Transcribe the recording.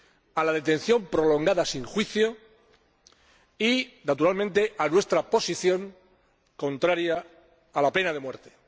a la detención prolongada sin juicio, y, naturalmente, se puso de manifiesto nuestra posición contraria a la pena de muerte.